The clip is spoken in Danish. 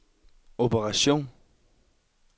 operation